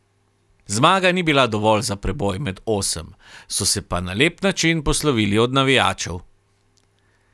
Zmaga ni bila dovolj za preboj med osem, so se pa na lep način poslovili od navijačev.